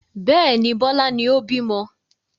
Bẹ́ẹ̀ni, Bọlá ni ó bímọ